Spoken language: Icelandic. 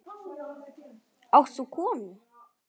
Átt þú konu?